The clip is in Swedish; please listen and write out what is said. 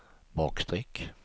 bakstreck